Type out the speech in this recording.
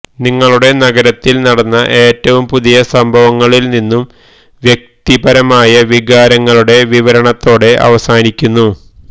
നിങ്ങളുടെ നഗരത്തിൽ നടന്ന ഏറ്റവും പുതിയ സംഭവങ്ങളിൽ നിന്നും വ്യക്തിപരമായ വികാരങ്ങളുടെ വിവരണത്തോടെ അവസാനിക്കുന്നു